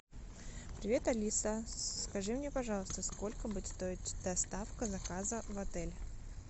привет алиса скажи мне пожалуйста сколько будет стоить доставка заказа в отель